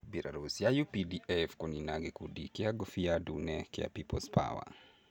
Mbirarũ cia uPDF kũnina gĩkundi kĩa ngũbia ndune kĩa peoples power